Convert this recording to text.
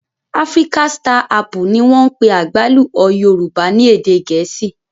Africa star apple ni wọ́n ń pè àgbálù ọ́ Yorùbá ní èdè Gẹ̀ẹ́sì.